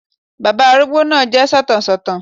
Bàbá arúgbó náà jẹ́ sọ̀tàn sọ̀tàn